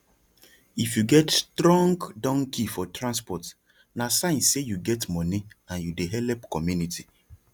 if you get strong donkey for transport na sign say you get money and you dey help community